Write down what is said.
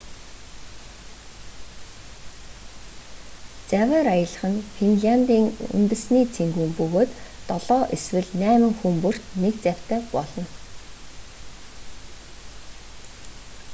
завиар аялах нь финлиандын үнэсний цэнгүүн бөгөөд долоо эсвэл найма хүн бүрт нэг завьтай болно